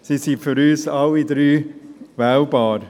Sie sind für uns alle drei wählbar.